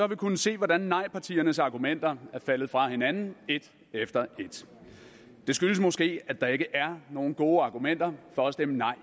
vi kunnet se hvordan nejpartiernes argumenter er faldet fra hinanden et efter et det skyldes måske at der ikke er nogen gode argumenter for at stemme nej